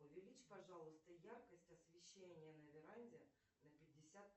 увеличь пожалуйста яркость освещения на веранде на пятьдесят